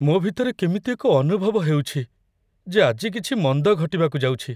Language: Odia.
ମୋ ଭିତରେ କେମିତି ଏକ ଅନୁଭବ ହେଉଛି, ଯେ ଆଜି କିଛି ମନ୍ଦ ଘଟିବାକୁ ଯାଉଛି।